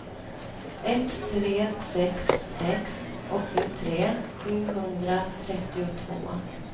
ett tre sex sex åttiotre sjuhundratrettiotvå